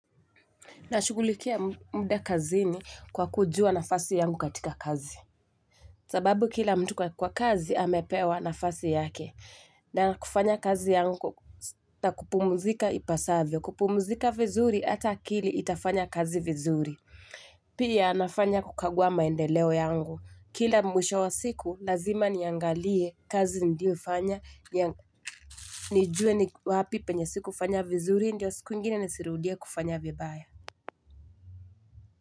Nashugulikia muda kazini kwa kujua nafasi yangu katika kazi. Sababu kila mtu kwa kazi amepewa nafasi yake. Nafanya kazi yangu na kupumuzika ipasavyo. Kupumuzika vizuri hata akili itafanya kazi vizuri. Pia nafanya kukagua maendeleo yangu. Kila mwisho wa siku lazima niangalie kazi niliofanya. Nijue ni wapi penye sikufanya vizuri ndio siku ingine nisirudie kufanya vibaya.